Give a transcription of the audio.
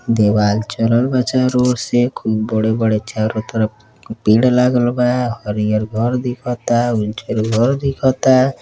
देवाल चलल बा। चारो ओर से से खूब बड़े-बड़े चारो तरफ पेड़ लागलबा। हरियर घर दिखता। उज्जर घर दिखता --